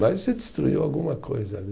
destruiu alguma coisa ali.